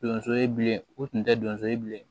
Donso ye bilen u tun tɛ donso ye bilen